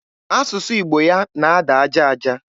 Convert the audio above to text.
Asụsụ Igbo ya na-ada aja aja.